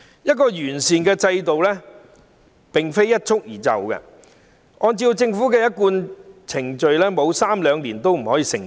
一個完善的制度不可能一蹴而就，按照政府的一貫程序，至少需時三兩年，方可成事。